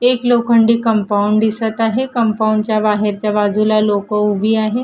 एक लोखंडी कंपाउंड दिसतं आहे. कंपाउंड च्या बाहेरच्या बाजूला लोकं उभी आहेत.